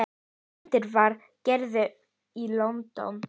Myndin var gerð í London.